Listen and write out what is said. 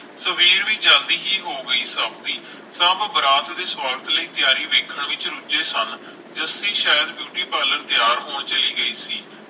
ਸਵੇਰ ਵੀ ਜਲਦੀ ਹੀ ਹੋ ਗਈ ਸਭ ਦੀ ਸਭ ਬਰਾਤ ਦੀ ਤਿਆਰੀ ਵੇਖਣ ਵਿਚ ਰੁਝੇ ਸਨ ਜੱਸੀ ਸ਼ਾਇਦ ਬਿਊਟੀ ਪਾਰਲਰ ਤਿਆਰ ਹੋਣ ਚਲੀ ਗਈ ਸੀ